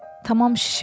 Tamam şişib.